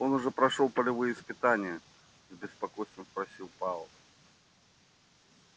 он уже прошёл полевые испытания с беспокойством спросил пауэлл